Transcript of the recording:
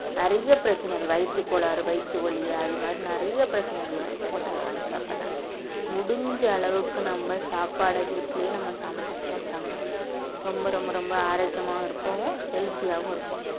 நிறைய பிரச்சனைகள் வயித்துக் கோளாறு வயித்து வலி அது மாரி நிறைய பிரச்சனைகள் வரும் hotel ல வாங்கி சாப்பிடறனால முடிஞ்ச அளவுக்கு நம்ம சாப்பாட வீட்டிலேயே நம்ம சமைச்சு சாப்பிட்டோம்ன்னா ரொம்ப ரொம்ப ரொம்ப ஆரோக்கியமாவும் இருப்போம் healthy ஆவும் இருப்போம்.